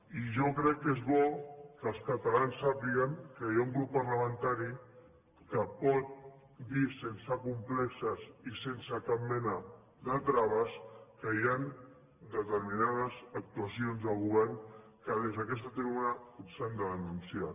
i jo crec que és bo que els catalans sàpiguen que hi ha un grup parlamentari que pot dir sense complexos i sense cap mena de traves que hi han determinades actuacions de govern que des d’aquesta tribuna s’han de denunciar